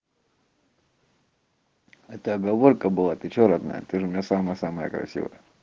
это оговорка была ты что родная ты же у меня самая самая красивая